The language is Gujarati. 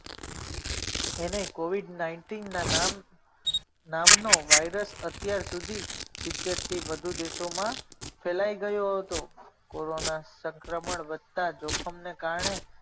એને covid nineteen ના નામનો વાઇરસ અત્યાર સુધી સિતેર થી વધુ દેશોમાં ફેલાઈ ગયો હતો. કોરોના સંક્રમણ વધતા જોખમને કારણે